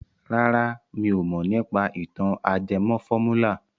Rárá mi ò mọ̀ nípa ìtàn ajẹmọ fọ́múlà.